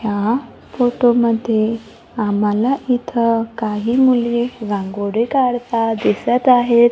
ह्या फोटोमध्ये आम्हाला इथं काही मुली रांगोळी काढता दिसत आहेत.